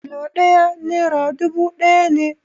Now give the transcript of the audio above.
Kilo ɗaya nera dubu ɗaya ne